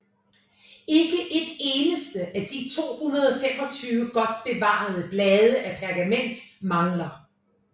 Ikke et eneste af de 225 godt bevarede blade af pergament mangler